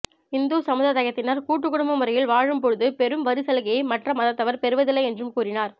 இந்து சமுததயத்தினர் கூட்டு குடும்ப முறையில் வாழும் போது பெறும் வரி சலுகையை மற்ற மதத்தவர் பெறுவதில்லை என்றும் கூறினார்